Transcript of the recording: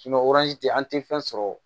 an tɛ fɛn sɔrɔ o